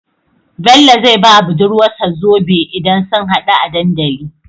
Bello zai bawa budurwar sa zobe idan sun hadu a dandali